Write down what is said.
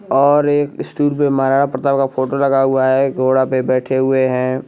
और एक स्टूल पे महाराणा प्रताप का फोटो लगा हुआ है घोड़ा पे बैठे हुए हैं।